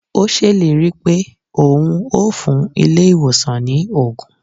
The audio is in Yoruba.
O ṣèlérí pé o hun ó fún ilé ìwòsàn ni ògùn